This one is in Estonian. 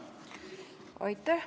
Aitäh!